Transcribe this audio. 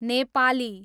Nepali